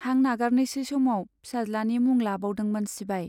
हां नागारनोसै समाव फिसाज्लानि मुं लाबावदोंमोन सिबाइ।